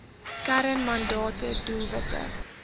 kern mandate doelwitte